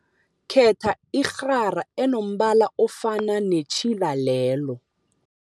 Khetha irhara enombala ofana netjhila lelo.